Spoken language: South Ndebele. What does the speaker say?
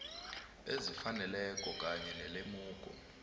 ezifaneleko kanye nelemuko